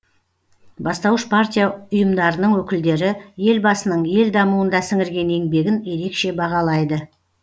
бастауыш партия ұйымдарының өкілдері елбасының ел дамуында сіңірген еңбегін ерекше бағалайды